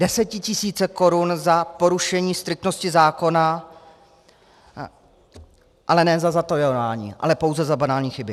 Desetitisíce korun za porušení striktnosti zákona, ale ne za zatajování, ale pouze za banální chyby.